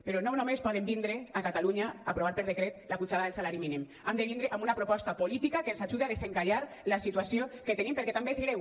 però no només poden vindre a catalunya a aprovar per decret la pujada del salari mínim han de vindre amb una proposta política que ens ajude a desencallar la situació que tenim perquè també és greu